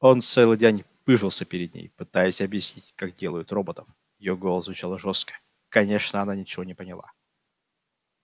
он целый день пыжился перед ней пытаясь объяснить как делают роботов её голос звучал жёстко конечно она ничего не поняла